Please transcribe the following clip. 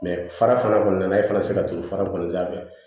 fara kɔni nana e fana tɛ se ka turu fara kɔni sanfɛ